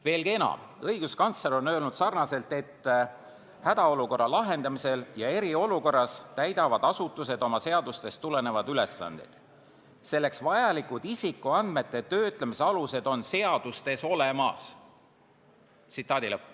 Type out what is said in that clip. Veelgi enam, õiguskantsler on öelnud, et hädaolukorra lahendamisel ja eriolukorras täidavad asutused oma seadustest tulenevaid ülesandeid, selleks vajalikud isikuandmete töötlemise alused on seadustes olemas.